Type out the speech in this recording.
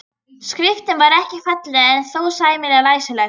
Skriftin var ekki falleg en þó sæmilega læsileg.